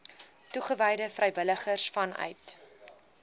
toegewyde vrywilligers vanuit